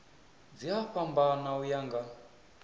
dzi a fhambana uya nga